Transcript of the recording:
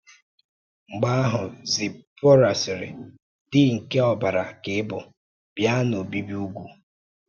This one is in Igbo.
Mgbe ahụ Zipọra sịrị, “Di nke ọbara ka ị bụ, bịa n’obibi ùgwù.”